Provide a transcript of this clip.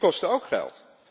Die kosten ook geld.